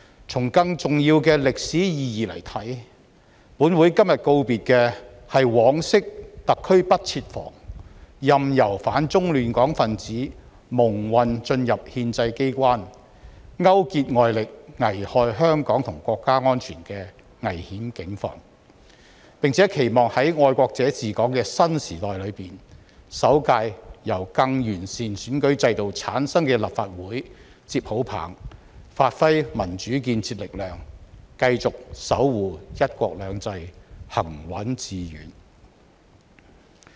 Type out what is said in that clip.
從更重要的歷史意義來看，本會今天告別的是往昔特區不設防，任由反中亂港分子蒙混進入憲制機關，勾結外力，危害香港和國家安全的危險境況；並且期望在"愛國者治港"的新時代中，首屆由更完善選舉制度產生的立法會接好棒，發揮民主建設力量，繼續守護"一國兩制"行穩致遠。